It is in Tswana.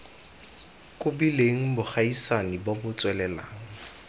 kobileng bogaisani bo bo tswelelang